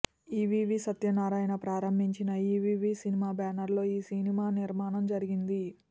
EVV Satyanarayana ప్రారంభించిన EVV cinema బ్యానర్లో ఈ సినిమా నిర్మాణం జరిగింది